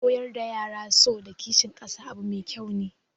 Koyar da yara so da kishin kasa abu mai kyau